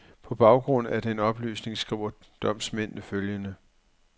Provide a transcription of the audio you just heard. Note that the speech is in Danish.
På baggrund af den oplysning skriver domsmændene følgende.